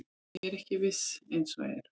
Ég er ekki viss eins og er.